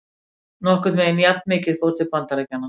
Nokkurn veginn jafnmikið fór til Bandaríkjanna.